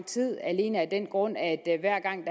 tid alene af den grund at hver gang